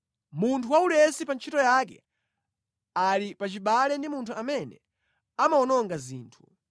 Munthu waulesi pa ntchito yake ali pachibale ndi munthu amene amawononga zinthu.